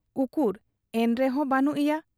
ᱩᱠᱩᱨ ᱮᱱᱛᱮᱦᱚᱸ ᱵᱟᱹᱱᱩᱜ ᱮᱭᱟ ᱾